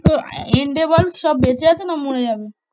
তো end এ বল? সব বেঁচে আছে না মরে যাবে?